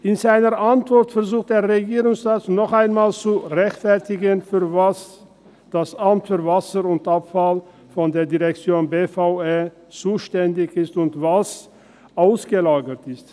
In seiner Antwort versucht der Regierungsrat noch einmal zu rechtfertigen, wofür das Amt für Wasser und Abfall (AWA) der Direktion BVE zuständig und was ausgelagert ist.